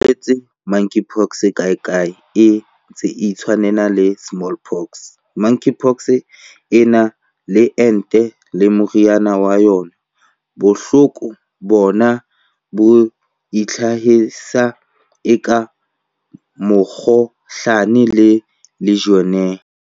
O boletse ha Monkeypox kae kae e ntse e itshwanela le Smallpox."Monkeypox e na le ente le meriana ya yona. Bohloko bona bo itlhahisa eka mokgohlane le Legionnaires."